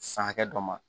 San hakɛ dɔ ma